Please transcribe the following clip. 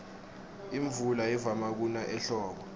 imvula ivama kuna ehlobo